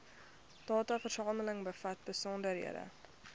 dataversameling bevat besonderhede